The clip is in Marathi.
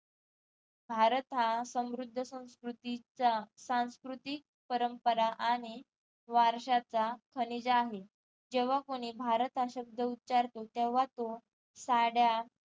भारत हा समृद्ध संस्कृतीचा संस्कृतीक परंपरा आणि वारशाचा खनिजा आहे जेव्हा कोणी भारत हा शब्द उचारतो तेव्हा तो साड्या